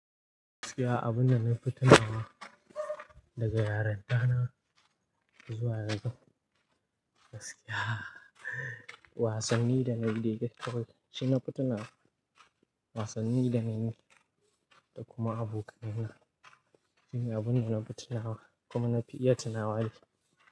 Gaskiya abunda na fi tunawa daga yarinta na zuwa yanzu, gaskiya wasanni dana yi da gate ball shine na fi tunawa, wasanni dana yi da kuma abokanai na shine abunda na fi tunawa kuma na fi iya tunawa da shi.